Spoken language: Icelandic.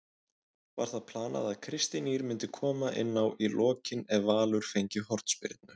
Var það planað að Kristín Ýr myndi koma inná í lokin ef Valur fengi hornspyrnu?